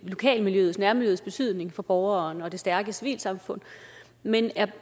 lokalmiljøets nærmiljøets betydning for borgeren og i det stærke civilsamfund men